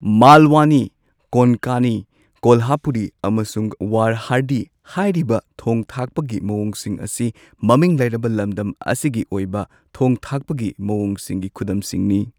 ꯃꯥꯜꯋꯅꯤ ꯀꯣꯟꯀꯅꯤ, ꯀꯣꯜꯍꯥꯄꯨꯔꯤ, ꯑꯃꯁꯨꯡ ꯋꯔꯍꯥꯙꯤ ꯍꯥꯏꯔꯤꯕ ꯊꯣꯡ ꯊꯥꯛꯄꯒꯤ ꯃꯑꯣꯡꯁꯤꯡ ꯑꯁꯤ ꯃꯃꯤꯡ ꯂꯩꯔꯕ ꯂꯝꯗꯝ ꯑꯁꯤꯒꯤ ꯑꯣꯏꯕ ꯊꯣꯡ ꯊꯥꯛꯄꯒꯤ ꯃꯑꯣꯡꯁꯤꯡꯒꯤ ꯈꯨꯗꯝꯁꯤꯡꯅꯤ꯫